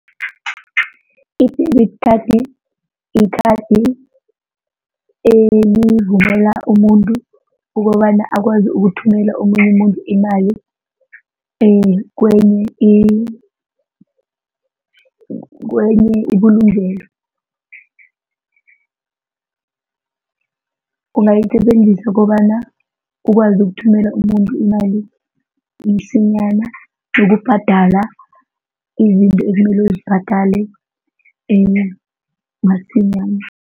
I-debit card yikhadi elivumela umuntu ukobana akwazi ukuthumela omunye umuntu imali kwenye kwenye ibulungelo. Ungayisebenzisa kobana ukwazi ukuthumela umuntu imali msinyana nokubhadala izinto ekumele uzibhadale masinyana.